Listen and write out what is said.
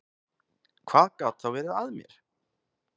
Hvað gat þá verið að mér?